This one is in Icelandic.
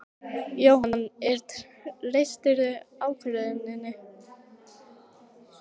Jóhann: En treystirðu ákvörðuninni?